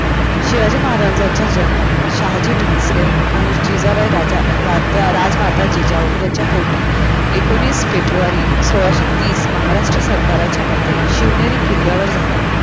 शिवाजी महाराजांचा जन्म शहाजी भोसले आणि जिजाबाई राजा राजमाता जिजाऊ त्यांच्या पोटी एकोणीस फेब्रुवारी सोळाशे तीस महाराष्ट्र सरकारच्या मते शिवनेरी किल्ल्यावर झाला